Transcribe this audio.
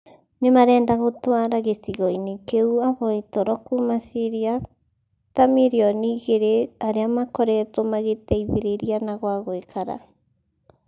Nĩ marenda gũtũara gĩcigo-inĩ kĩu ahoi toro kuuma Ciria ta mirioni igĩrĩ arĩa makoretwo magĩteithĩrĩria na gwa gũikara